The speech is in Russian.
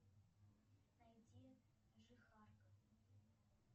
найди жихарка